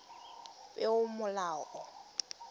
peomolao